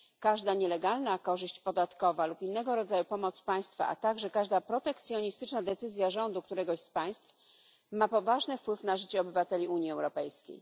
Każda nielegalna korzyść podatkowa lub innego rodzaju pomoc państwa, a także każda protekcjonistyczna decyzja rządu któregoś z państw ma poważny wpływ na życie obywateli Unii Europejskiej.